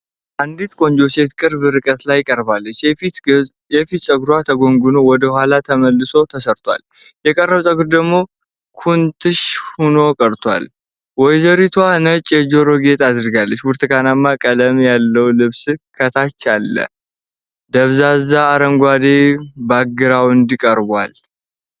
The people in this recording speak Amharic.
አንዲት ቆንጆ ሴት ቅርብ ርቀት ላይ ቀርባለች። የፊቷ ፀጉር ተጎንጉኖና ወደ ኋላ ተመልሶ ተሰርቷል፤ የቀረው ፀጉር ደግሞ ኩርንችት ሆኖ ተለቋል። ወይዘሪቷ ነጭ የጆሮ ጌጥ አድርጋለች። ብርቱካንማ ቀለም ያለው ልብስ ከታች አለ። ከኋላ ደብዛዛ አረንጓዴ ባክግራውንድ ቀርቧል።